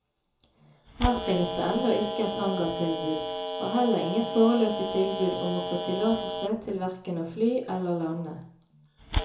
Her finnes det ennå ikke et hangartilbud, og heller ingen foreløpige tilbud om å få tillatelse til hverken å fly eller lande.